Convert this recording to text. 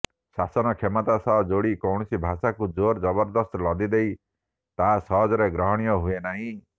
ଶାସନ କ୍ଷମତା ସହ ଯୋଡ଼ି କୌଣସି ଭାଷାକୁ ଜୋର୍ ଜବରଦସ୍ତ ଲଦିଦେଲେ ତାହା ସହଜରେ ଗ୍ରହଣୀୟ ହୁଏନାହିଁ